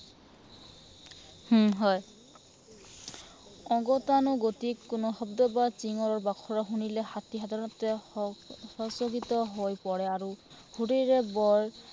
উম হয়। অগতানুগতিক কোনো শব্দ বা চিঞৰ বাখৰ শুনিলে হাতী সাধাৰণতে হম সচকিত হৈ পৰে আৰু শুৰেৰে বৰ